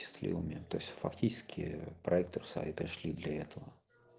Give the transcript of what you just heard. счастливыми то есть фактически проектов сай пришли для этого